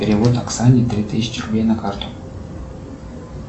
перевод оксане три тысячи рублей на карту